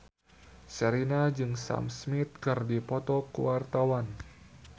Sherina jeung Sam Smith keur dipoto ku wartawan